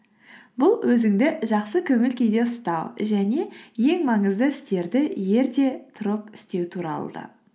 бұл өзіңді жақсы көңіл күйде ұстау және ең маңызды істерді ерте тұрып істеу туралы да